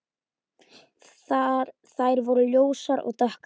Þær voru ljósar og dökkar.